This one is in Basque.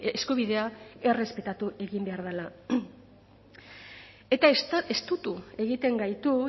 eskubidea errespetatu egin behar dela eta estutu egiten gaitu